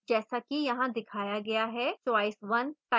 जैसा कि यहाँ दिखाया गया है choice 1 type करें